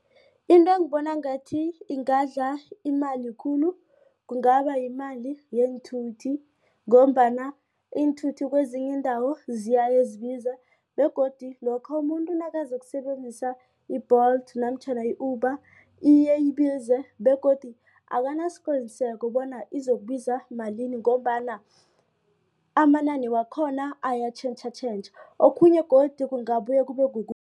Into engibona ngathi ingadla imali khulu kungabayimali yeenthuthi ngombana iinthuthi kwezinye iindawo ziyayezibize begodu lokha umuntu nakazokusebenzisa i-Bolt namtjhana i-Uber iye ibize begodu akunasiqiniseko bona izokubiza malini ngombana amanani wakhona ayatjhentjhatjhentjha okhunye godu kungabuye